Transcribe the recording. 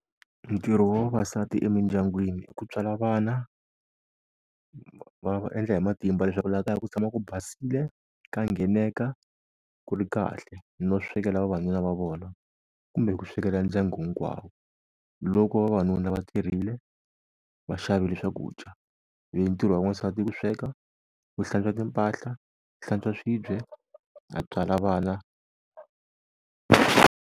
Ntirho wa vavasati emindyangwini, i ku tswala vana va endla hi matimba leswaku laha kaya ku tshama ku basile, ka nghenaka ku ri kahle no swekela vavanuna va vona kumbe ku swekela ndyangu hinkwawo, loko vavanuna va tirhile va xavile swakudya i ntirho wa n'wansati ku sweka, ku hlantswa timpahla, hlantswa swibye a tswala vana.